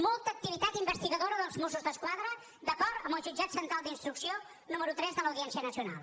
molta activitat investigadora dels mossos d’esquadra d’acord amb el jutjat central d’instrucció número tres de l’audiència nacional